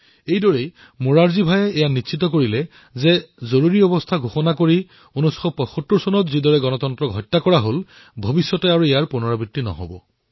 এইদৰে মোৰাৰজী ভায়ে এয়া সুনিশ্চিত কৰিলে যে জৰুৰীকালীন অৱস্থা প্ৰণয়ন কৰি ১৯৭৫ চনত যিদৰে গণতন্ত্ৰৰ হত্যা কৰা হৈছিল সেয়া ভৱিষ্যতে যাতে পুনৰ দোহৰা নহয়